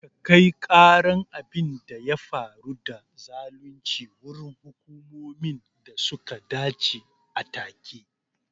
Ka kai karan abin da ya faru da zalunci wurin hukumomin da suka dace a take